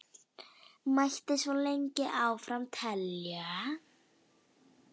Mætti svo lengi áfram telja.